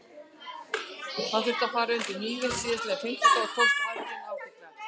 Hann þurfti að fara undir hnífinn síðastliðinn fimmtudag og tókst aðgerðin ágætlega.